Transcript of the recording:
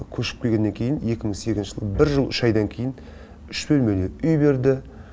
көшіп келгеннен кейін екі мың сегізінші жылы бір жыл үш айдан кейін үш бөлмелі үй берді